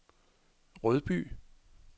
Rødby